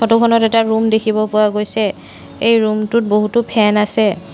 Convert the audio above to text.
ফটোখনত এটা ৰূম দেখিব পোৱা গৈছে এই ৰূমটোত বহুতো ফেন আছে।